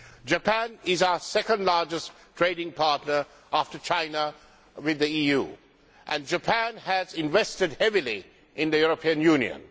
Japan is our second largest trading partner after China, with the EU, and Japan has invested heavily in the European Union.